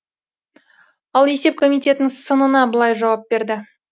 ал есеп комитетінің сынына былай жауап берді